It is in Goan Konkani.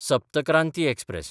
सप्त क्रांती एक्सप्रॅस